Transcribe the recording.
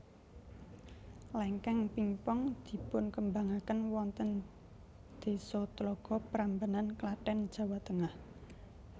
Lengkeng pingpong dipunkembangaken wonten desa Tlogo Prambanan Klaten Jawa Tengah